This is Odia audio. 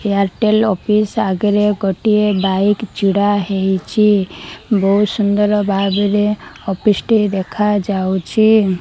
ଏଆରଟେଲ ଅଫିସ ଆଗରେ ଗୋଟିଏ ବାଇକ ଛିଡା ହେଇଛି ବହୁତ ସୁନ୍ଦର ଭାବରେ ଅଫିସ ଟି ଦେଖାଯାଉଛି।